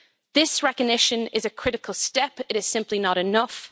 This recognition is a critical step, but it is simply not enough.